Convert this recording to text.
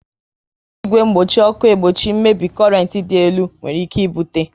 E ji igwe mgbochi ọkụ egbochi mmebi korent dị elu nwere ike ibute